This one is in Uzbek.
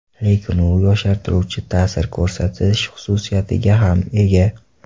Lekin u yoshartiruvchi ta’sir ko‘rsatish xususiyatiga ham ega.